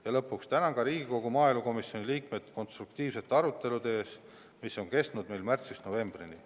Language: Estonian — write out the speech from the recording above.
Ja lõpuks tänan ka Riigikogu maaelukomisjoni liikmeid konstruktiivsete arutelude eest, mis on kestnud märtsist novembrini.